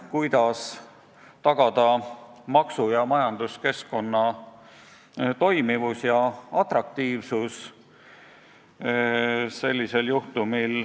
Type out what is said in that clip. Kuidas sellisel juhtumil tagada maksu- ja majanduskeskkonna toimivus ja atraktiivsus?